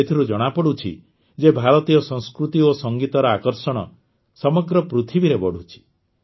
ଏଥିରୁ ଜଣାପଡ଼ୁଛି ଯେ ଭାରତୀୟ ସଂସ୍କୃତି ଓ ସଂଗୀତର ଆକର୍ଷଣ ସମଗ୍ର ପୃଥିବୀରେ ବଢ଼ୁଛି